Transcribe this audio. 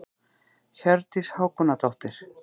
Hjördís Hákonardóttir.